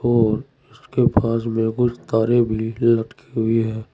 और इसके पास में कुछ तारें भी लटकी हुई है।